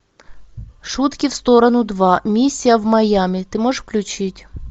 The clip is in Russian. шутки в сторону два миссия в майами ты можешь включить